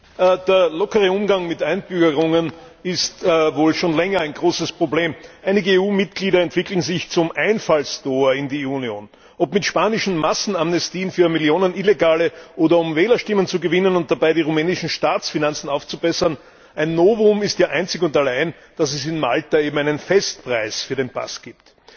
Herr Präsident! Der lockere Umgang mit Einbürgerungen ist wohl schon länger ein großes Problem. Einige EU Mitglieder entwickeln sich zum Einfallstor in die Union, ob mit spanischen Massenamnestien für Millionen Illegale oder um Wählerstimmen zu gewinnen und dabei die rumänischen Staatsfinanzen aufzubessern ein Novum ist ja einzig und allein, dass es in Malta eben einen Festpreis für den Pass gibt.